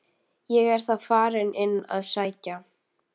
Ég er þá farinn inn að sækja